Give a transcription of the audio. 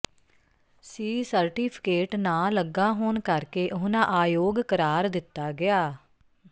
ਸੀ certificate ਨਾ ਲੱਗਾ ਹੋਣ ਕਰਕੇ ਉਨਾਂ ਆਯੋਗ ਕਰਾਰ ਦਿੱਤਾ ਗਿਆ